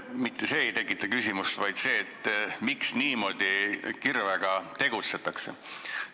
Mitte see ei tekita küsimusi, vaid see, miks niimoodi kirvega tegutsetakse.